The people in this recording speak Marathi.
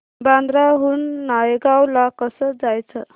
बांद्रा हून नायगाव ला कसं जायचं